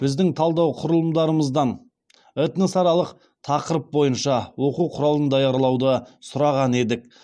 біздің талдау құрылымдарымыздан этносаралық тақырып бойынша оқу құралын даярлауды сұраған едік